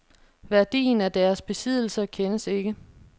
Værdien af deres besiddelser kendes ikke.